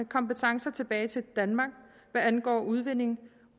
kompetencer tilbage til danmark hvad angår udvinding